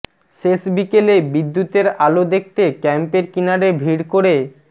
শেষ বিকেলে বিদ্যুতের আলো দেখতে ক্যাম্পের কিনারে ভিড় করে